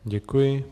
Děkuji.